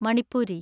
Manipuri